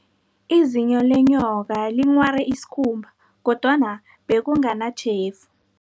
Izinyo lenyoka linghware isikhumba, kodwana bekunganatjhefu.